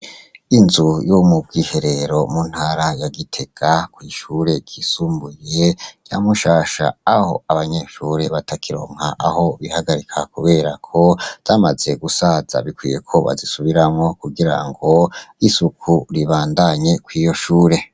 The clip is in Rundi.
Inzu yo mu bwiherero mu ntara ya Gitega kw'ishure ryisumbuye rya Mushasha, aho abanyeshure batakironka aho bihagarika, kubera ko zamaze gusaza. Bikwiyeko bazisubiramwo kugira ngo isuku ribandnye kw'iyo shure